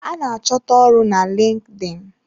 A ná achọta ọrụ na LinkedIn.